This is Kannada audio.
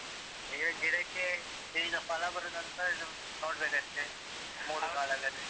ಈಗ ಗಿಡಕ್ಕೆ ಈಗ ಫಲ ಬರುದಂತ ನೋಡ್ಬೇಕಷ್ಟೆ ಮೂರು ಕಾಲದಲ್ಲಿ.